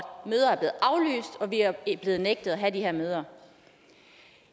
vi er blevet nægtet at have de her møder